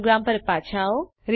programme પર પાછા આવો